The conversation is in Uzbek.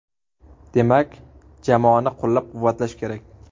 Demak, jamoani qo‘llab-quvvatlash kerak.